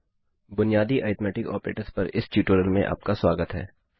बुनियादी arithmetic operators पर इस ट्यूटोरियल में आपका स्वागत है